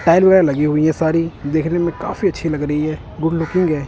Tile वगैरह लगी हुई हैं सारी देखने में काफी अच्छी लग रही है गुड लुकिंग है।